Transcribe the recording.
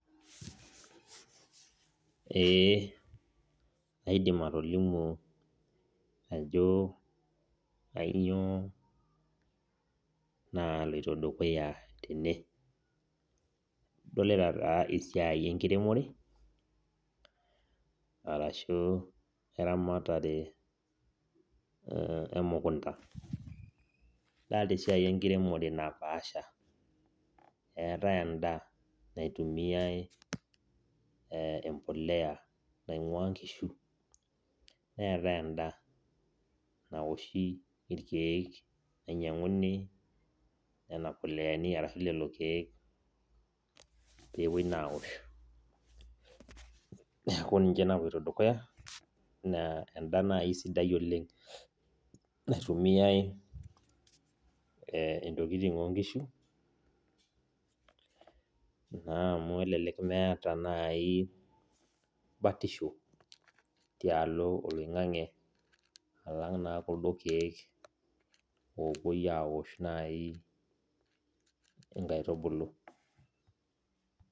Ee aidim atolimu ajo kanyio naloito dukuya tene, adolita na esiai enkiremore arashu eramatare emukunda, adolta esiai enkiremore napaasha eetae enda naitumiai embolea naingua nkishu neetae enda naoshi irkiek nainyanguni nonapoleani ashu lolokiek pepuoi na aosh, neaku kuna napoito dukuya enda nai esidai oleng naitumiai ntokitin onkishu amu elelek meeta nai batisho tialo oloingangi alangu na kuldo kiek opuoi aosh nai nkaitubulu.